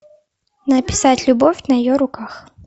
написать любовь на ее руках